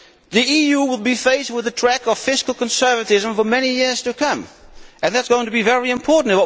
The EU will be faced with a track of fiscal conservatism for many years to come, and that is going to be very important.